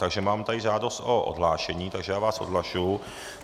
Takže mám tady žádost o odhlášení, takže já vás odhlašuji.